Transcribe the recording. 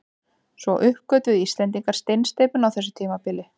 Svo uppgötvuðu Íslendingar steinsteypuna á þessu tímabili.